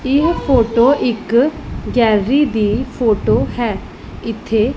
ਇਹ ਫੋਟੋ ਇੱਕ ਗੈਲਰੀ ਦੀ ਫੋਟੋ ਹੈ ਇੱਥੇ--